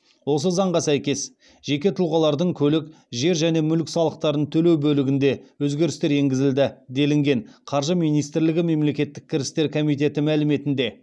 осы заңға сәйкес жеке тұлғалардың көлік жер және мүлік салықтарын төлеу бөлігінде өзгерістер енгізілді делінген қаржы министрлігі мемлекеттік кірістер комитеті мәліметінде